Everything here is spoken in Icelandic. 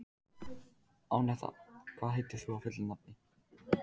Anetta, hvað heitir þú fullu nafni?